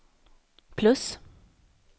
plus